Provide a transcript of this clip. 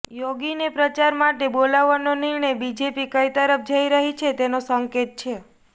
યોગીને પ્રચાર માટે બોલાવવાનો નિર્ણય બીજેપી કઈ તરફ જઈ રહી છે તેનો સંકેત છે